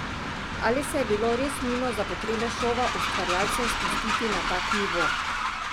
Ali se je bilo res nujno za potrebe šova ustvarjalcem spustiti na tak nivo?